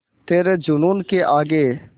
तेरे जूनून के आगे